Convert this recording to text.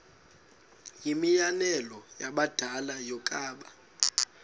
yimianelo yabadala yokaba